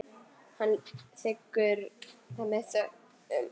Hann þiggur það með þökkum.